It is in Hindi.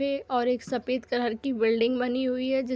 पेऔर एक सफेद कलर की बिल्डिंग बनी हुई है जि --